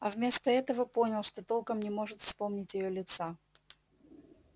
а вместо этого понял что толком не может вспомнить её лица